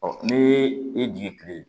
ni i jigin kile